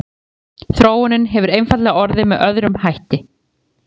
þróunin hefur einfaldlega orðið með öðrum hætti